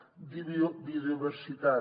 `biodiversitat